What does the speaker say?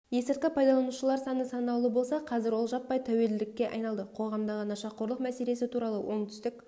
есірткі пайдаланушылар саны санаулы болса қазір ол жаппай тәуелділікке айналды қоғамдағы нашақорлық мәселесі туралы оңтүстік